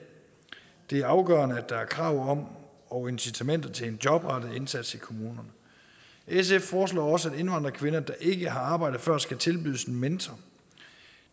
det er afgørende at der er krav om og incitamenter til en jobrettet indsats i kommunerne sf foreslår også at indvandrerkvinder der ikke har arbejdet før skal tilbydes en mentor